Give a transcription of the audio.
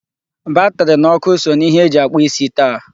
Batri na ọkụ so na ihe eji akpụ isi taa.